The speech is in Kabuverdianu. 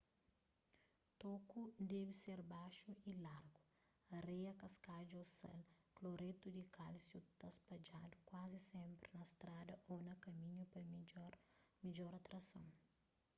toku debe ser baxu y lagu. areia kaskadju ô sal kloretu di kálsiu ta spadjadu kuazi sénpri na strada ô na kaminhu pa midjora trason